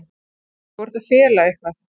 Þú ert að fela eitthvað.